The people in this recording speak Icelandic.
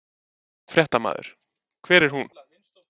Fréttamaður: Hver er hún?